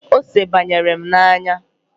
Ose banyere n'anya m